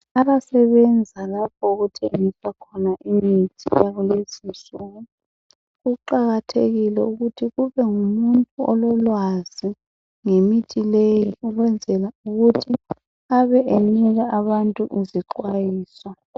Abasebenza lapho okuthengiswa khona imithi eyakulezi insuku kuqakathekile ukuthi kubengumuntu ololwazi ngemithi leyo ukwenzela ukuthi abe enika abantu izixwayiso.